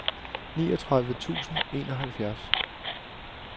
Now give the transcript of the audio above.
niogtredive tusind og enoghalvfjerds